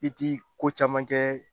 I ti ko caman kɛ